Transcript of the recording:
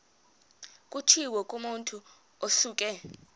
kutshiwo kumotu osuke